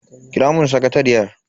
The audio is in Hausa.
Kira mun sakatariyar.